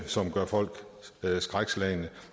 som gør folk skrækslagne